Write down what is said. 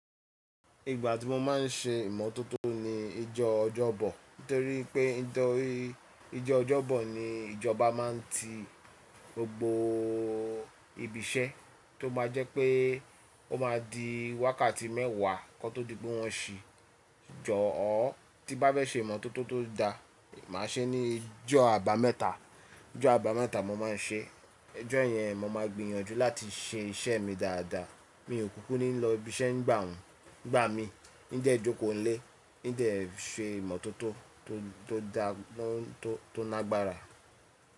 Ìgbà tí mo máa ń ṣe ìmọ́tótó ni ijó ọjọ́bọ̀. Nítorí pé ijó ọjọ́bọ̀ ni ìjọba máa ń ti gbogbo ibi iṣẹ́ tó báa jẹ́ pé ó máa di wákàtí mẹ́wàá kí wọ́n tó di pé wọ́n ṣì jọ̀ọ́. Tí bá bẹ́ fe se ìmọ́tótó tó da, màá ṣe ní ijó àbámẹ́ta. Ijó àbámẹ́ta mo máa ń ṣe. Ijó yẹn mo máa gbìyànjú láti ṣe iṣẹ́ mi dáadáa. Mi ò kúkú ní lọ ibi iṣẹ́ nígbà mi, n de jókòó nílé, n de ṣe ìmọ́tótó tó dáa, tó nàgbára.